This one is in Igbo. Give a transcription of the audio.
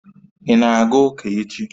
Ị na-aga ụka echi?